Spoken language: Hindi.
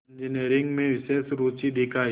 इंजीनियरिंग में विशेष रुचि दिखाई